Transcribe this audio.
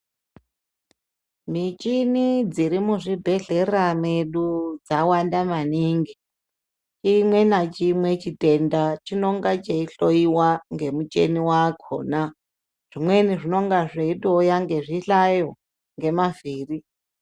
Michini dziri muzvibhehlera medu dzawanda maningi, chimwe nachimwe chitenda chinonga cheihloiwa ngemuchiniwakona .Zvimweni zvinonga zveitouya ngezvihlayo ngemavhiri.